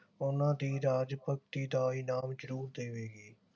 ਉਨ੍ਹਾਂ ਦੀ ਰਾਜ ਭਗਤੀ ਦਾ ਇਨਾਮ ਜਰੂਰ ਦੇਵੇਗੀ